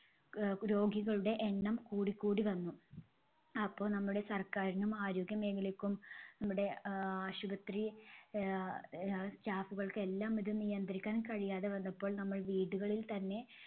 അഹ് രോഗികളുടെ എണ്ണം കൂടിക്കൂടി വന്നു. അപ്പൊ നമ്മുടെ സർക്കാരിനും ആരോഗ്യമേഖലക്കും നമ്മുടെ ആഹ് ആശുപത്രി ആഹ് അഹ് staff കൾക്കും എല്ലാം ഇത് നിയന്ത്രിക്കാൻ കഴിയാതെ വന്നപ്പോൾ നമ്മൾ വീടുകളിൽത്തന്നെ